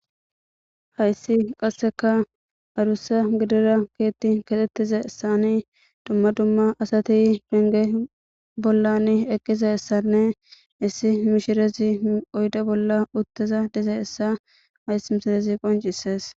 hayssi qasseka adusa gidira keetti kaxxettize issani dumma dumma asati benge bollan eqqiza issanne issi mishirezi oyde bolla utteza diza essa ays mishirezi qoncisees